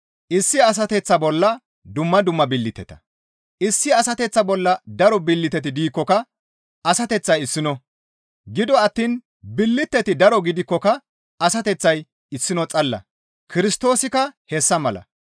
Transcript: Issi asateththa bolla daro billiteti diikkoka asateththay issino; gido attiin billiteti daro gidikkoka asateththay issino xalla; Kirstoosikka hessa mala.